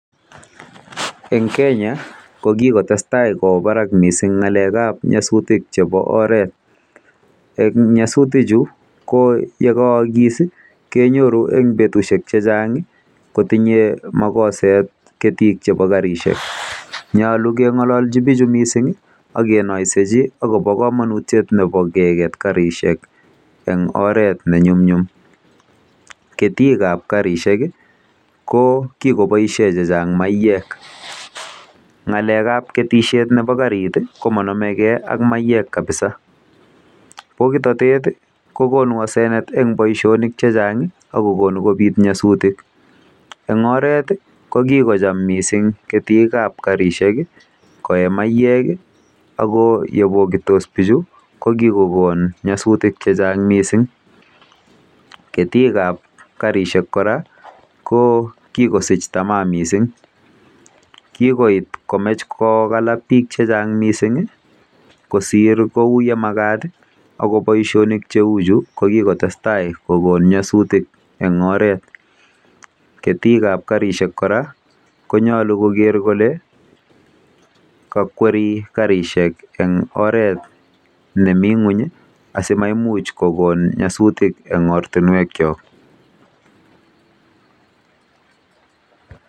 Eng Kenya ko kikotestai kowo barak mising ng'alekab nyasutik chebo oret. Eng nyasutiju ko yekaakis kenyoru eng betusiek chechang kotinye makosset ketik chebo karishek. Nyolu keng'olji bichu mising akenoiseji akobo komonutiet nebo keket karishek eng oret nenyumnyum